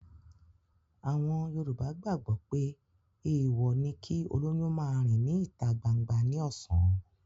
Àwọn Yorùbá gbàgbọ́ pé èèwọ̀ ni kí olóyún máa rìn ní ìta gbangba ní ọ̀sán